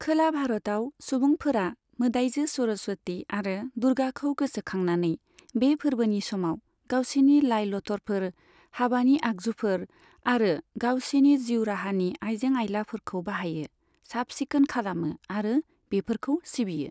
खोला भारतआव, सुबुंफोरा मोदाइजो सरस्वति आरो दुर्गाखौ गोसोखांनानै, बे फोर्बोनि समाव गावसिनि लाइ लथरफोर, हाबानि आगजुफोर आरो गावसिनि जिउ राहानि आइजें आइलाफोरखौ बाहायो, साफ सिखोन खालामो आरो बेफोरखौ सिबियो।